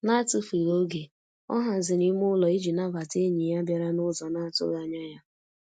N'atufughị oge, ọ haziri ime ụlọ ịji nabata enyi ya bịara n'ụzọ na-atụghị anya ya.